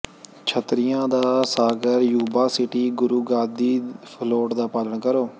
ਛਤਰੀਆਂ ਦਾ ਸਾਗਰ Yuba City Guru Gaddi float ਦਾ ਪਾਲਣ ਕਰੋ